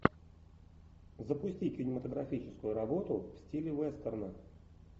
запусти кинематографическую работу в стиле вестерна